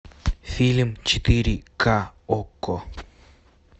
фильм четыре ка окко